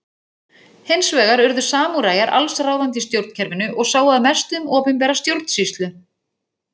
Hins vegar urðu samúræjar alls ráðandi í stjórnkerfinu og sáu að mestu um opinbera stjórnsýslu.